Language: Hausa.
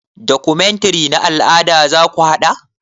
Documentary na al'ada zaku haɗa?